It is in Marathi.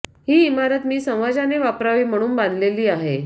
ही इमारत मी समाजाने वापरावी म्हणून बांधलेली आहे